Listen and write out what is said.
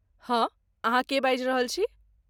हाँ, अहाँ के बाजि रहल छी?